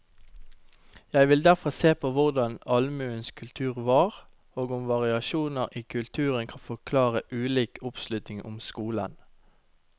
Jeg vil derfor se på hvordan allmuens kultur var, og om variasjoner i kulturen kan forklare ulik oppslutning om skolen.